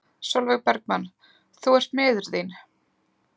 Sólveig Bergmann: Þú ert miður þín?